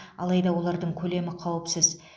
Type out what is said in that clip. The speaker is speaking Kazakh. алайда олардың көлемі қауіпсіз